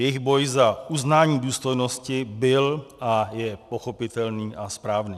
Jejich boj za uznání důstojnosti byl a je pochopitelný a správný.